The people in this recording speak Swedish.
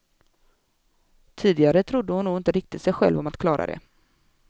Tidigare trodde hon nog inte riktig sig själv om att klara det.